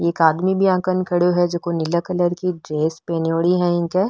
एक आदमी भी आगन खड़े है जो नीलो कलर की ड्रेस पहनीडी है इक।